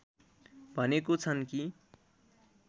भनेको छन् कि